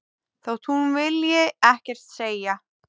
Þótt hún vilji ekkert segja.